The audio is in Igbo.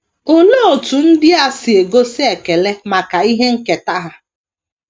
Olee otú ndia si gosi ekele maka ihe nketa ha?